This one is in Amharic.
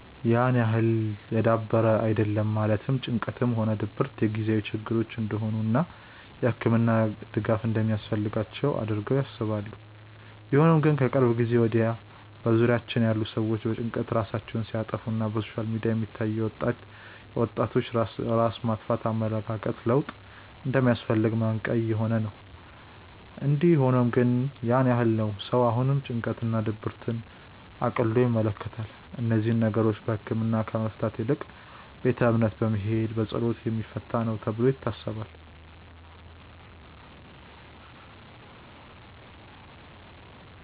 ያን ያህል የዳበረ አይደለም ማለትም ጭንቀትም ሆነ ድብረት የጊዜያዊ ችግሮች እንደሆኑ እና የህክምና ድጋፍ እንደማያስፈልጋቸው አድርገው ያስባሉ። ቢሆንም ግን ከቅርብ ጊዜ ወድያ በዙሪያችን ያሉ ሰዎች በጭንቀት ራሳቸውን ሲያጠፋ እና በሶሻል ሚዲያ የሚታዩ የወጣቶች ራስ ማጥፋት የኣመለካከት ለውጥ እንደሚያስፈልግ ማንቅያ እየሆነ ነው። እንዲ ሆኖም ግን ያን ያህል ነው ሰው አሁንም ጭንቀት እና ድብርትን እቅሎ ይመለከታል። እነዚህን ነገሮች በህክምና ከመፍታት ይልቅ ቤተ እምነት በመሄድ በፀሎት የሚፈታ ነው ተብሎ ይታሰባል።